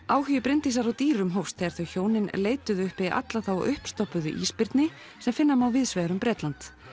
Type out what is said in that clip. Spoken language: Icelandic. áhugi Bryndísar á dýrum hófst þegar þau hjónin leituðu uppi alla þá ísbirni sem finna má víðs vegar um Bretland